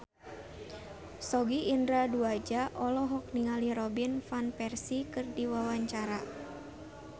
Sogi Indra Duaja olohok ningali Robin Van Persie keur diwawancara